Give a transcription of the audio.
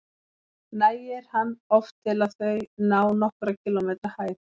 Nægir hann oft til að þau ná nokkurra kílómetra hæð.